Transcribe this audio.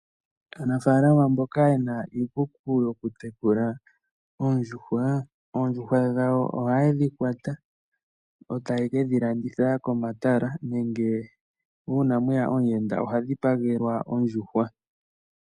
Aanafalama mboka yena iikuku yokutekula oondjuhwa. Oondjuhwa dha wo ohaye dhi kwata etaya kalanditha komatala nenge uuna mweya omuyenda ohadhi pagelwa ondjuhwa.